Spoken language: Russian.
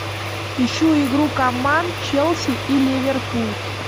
ищу игру команд челси и ливерпуль